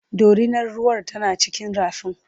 dorinar ruwar tana cikin rafin